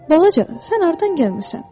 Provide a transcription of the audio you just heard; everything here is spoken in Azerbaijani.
Balaca, sən hardan gəlmisən?